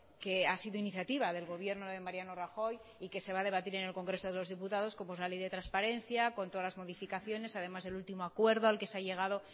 que ha sido iniciativa del gobierno de mariano rajoy y que se va a debatir en el congreso de los diputados como es la ley de transparencia con todas las modificaciones además del último acuerdo al que se ha llegado